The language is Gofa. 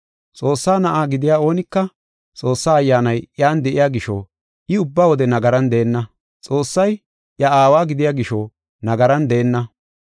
Xoossaa na7a gidiya oonika Xoossaa Ayyaanay iyan de7iya gisho, I ubba wode nagaran deenna. Xoossay iya Aawa gidiya gisho nagaran deenna.